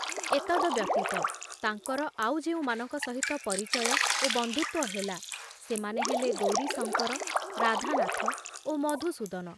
ଏତଦବ୍ୟତୀତ ତାଙ୍କର ଆଉ ଯେଉଁମାନଙ୍କ ସହିତ ପରିଚୟ ଓ ବନ୍ଧୁତ୍ଵ ହେଲା, ସେମାନେ ହେଲେ ଗୌରୀଶଙ୍କର, ରାଧାନାଥ ଓ ମଧୁସୂଦନ।